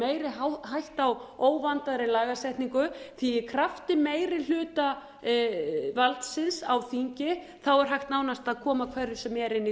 meiri hætta á óvandaðri lagasetningu því í krafti meirihlutavaldsins á þingi er hægt nánast að koma hverju sem er inn í